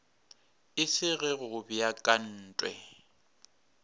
e se ge go beakantwe